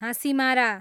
Hasimara